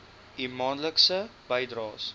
u maandelikse bydraes